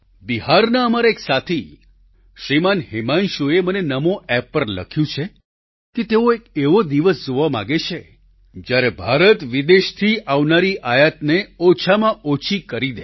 બિહારના અમારા એક સાથી શ્રીમાન હિમાંશુએ મને નમો એપ પર લખ્યું છે કે તેઓ એક એવો દિવસ જોવા માંગે છે જ્યારે ભારત વિદેશથી આવનારી આયાતને ઓછામાં ઓછી કરી દે